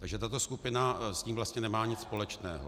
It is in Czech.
Takže tato skupina s tím vlastně nemá nic společného.